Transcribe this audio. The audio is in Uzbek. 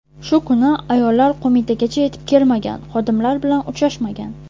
Shu kuni ayollar Qo‘mitagacha yetib kelmagan, xodimlar bilan uchrashmagan.